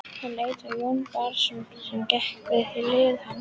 Hann leit á Jón Bjarnason sem gekk við hlið hans.